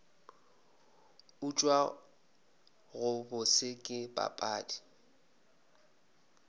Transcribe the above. utswa go bose ke papadi